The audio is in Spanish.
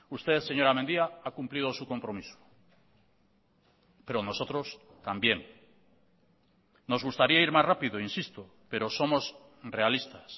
usted señora mendia ha cumplido su compromiso pero nosotros también nos gustaría ir más rápido insisto pero somos realistas